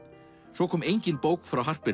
svo kom engin bók frá